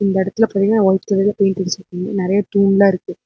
இந்த எடத்துல பாத்தீங்ன்னா வைட் கலர்ல பெயிண்ட் அடிச்சுருக்கு நெறைய டூல்லா இருக்கு.